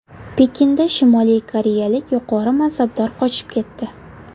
Pekinda Shimoliy koreyalik yuqori mansabdor qochib ketdi.